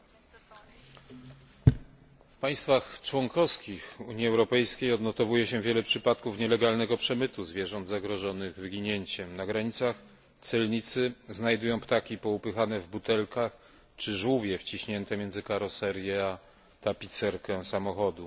Panie przewodniczący! W państwach członkowskich Unii Europejskiej odnotowuje się wiele przypadków nielegalnego przemytu zwierząt zagrożonych wyginięciem. Na granicach celnicy znajdują ptaki poupychane w butelkach czy żółwie wciśnięte między karoserię a tapicerkę samochodu.